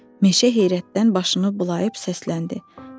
Meşə heyrətdən başını bulayıb səsləndi.